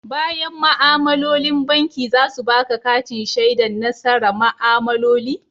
Bayan ma'amalolin banki za su baƙa katin shaidan nasara ma'amaloli?